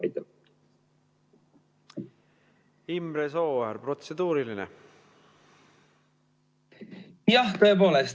Imre Sooäär, protseduuriline.